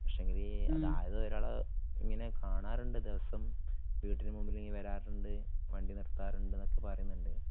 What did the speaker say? പക്ഷേങ്കില് അതായതു ഒരാളെ ഇങ്ങനെ കാണാറുണ്ടെന്നു ദിവസം വീട്ടിനു മുമ്പില് ഇങ്ങനെ വരാറുണ്ട് വണ്ടി നിർത്താറുണ്ട്ന്നൊക്കെ പറയുന്നുണ്ട്.